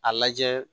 A lajɛ